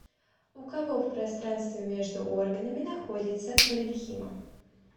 у кого в пространстве между органами находится паренхима